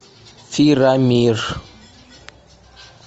фирамир